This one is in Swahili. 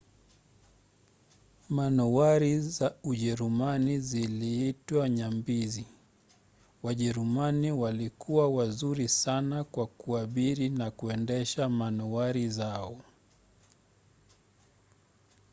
manowari za ujerumani ziliitwa nyambizi. wajerumani walikuwa wazuri sana kwa kuabiri na kuendesha manowari zao